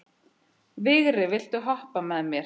Vigri, viltu hoppa með mér?